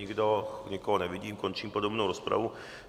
Nikdo, nikoho nevidím, končím podrobnou rozpravu.